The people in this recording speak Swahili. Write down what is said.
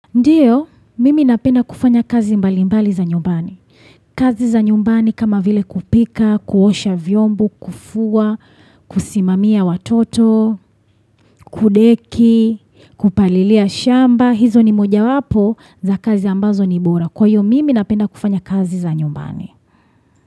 Ndiyo, mimi napenda kufanya kazi mbalimbali za nyumbani. Kazi za nyumbani kama vile kupika, kuosha vyombu, kufua, kusimamia watoto, kudeki, kupalilia shamba. Hizo ni mojawapo za kazi ambazo ni bora. Kwa hiyo, mimi napenda kufanya kazi za nyumbani.